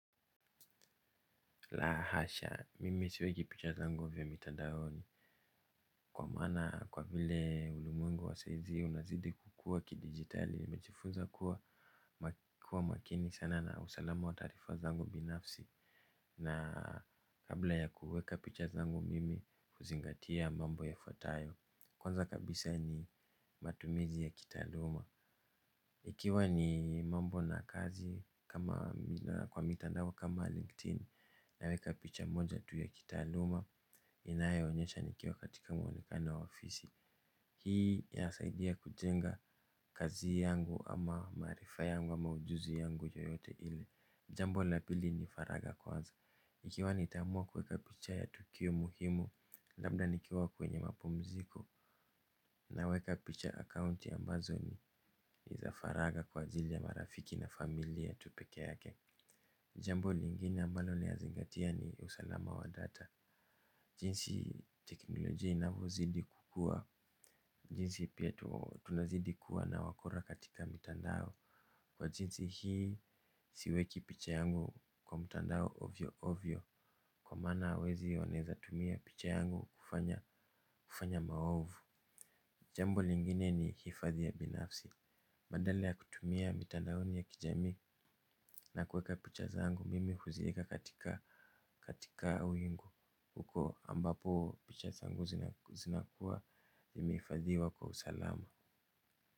La hasha, mimi siweki picha zangu vya mitandaoni. Kwa maana kwa vile ulimwengu wa saizi unazidi kukua kidigitali nimejifunza kuwa makini sana na usalama wa taarifa zangu binafsi. Na kabla ya kuweka picha zangu mimi uzingatia mambo yafuatayo. Kwanza kabisa ni matumizi ya kitaaluma. Ikiwa ni mambo na kazi kwa mitandao kama LinkedIn. Naweka picha moja tu ya kitaaluma inayo onyesha nikiwa katika mwonekano wa ofisi. Hii yasaidia kujenga kazi yangu ama maarifa yangu ama ujuzi yangu yoyote ile. Jambo la pili ni faraga kwanza. Nikiwa nitaamua kuweka picha ya tukio muhimu labda nikiwa kwenye mapumziko. Naweka picha akaunti ambazo ni za faraga kwa ajili ya marafiki na familia tu peke yake. Jambo lingine ambalo ninazingatia ni usalama wa data. Jinsi teknoloji inavozidi kukua jinsi pia tunazidi kuwa na wakora katika mitandao. Kwa jinsi hii siweki picha yangu kwa mtandao ovyo ovyo. Kwa maana wezi wanaeza tumia picha yangu kufanya maovu. Jambo lingine ni hifadhi ya binafsi badala ya kutumia mitandaoni ya kijamii nakuweka picha zangu. Mimi huzieka katika wingu. Huko ambapo picha xangu zinakuwa zimeifadhiwa kwa usalama.